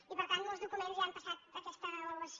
i per tant molts documents ja han passat aquesta avaluació